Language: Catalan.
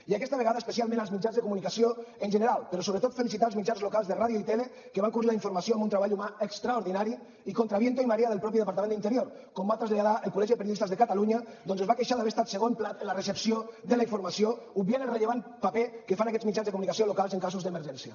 i aquesta vegada especialment als mitjans de comunicació en general però sobretot felicitar els mitjans locals de ràdio i tele que van cobrir la informació amb un treball humà extraordinari i contra viento y marea del mateix departament d’interior com va traslladar el col·legi de periodistes de catalunya que es va queixar d’haver estat segon plat en la recepció de la informació obviant el rellevant paper que fan aquests mitjans de comunicació locals en casos d’emergència